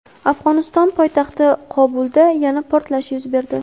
Afg‘oniston poytaxti Qobulda yana portlash yuz berdi.